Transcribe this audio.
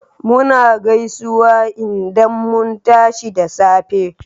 Muna gaisuwa indan mun tashi da safe